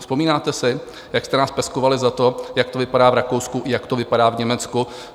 Vzpomínáte si, jak jste nás peskovali za to, jak to vypadá v Rakousku, jak to vypadá v Německu?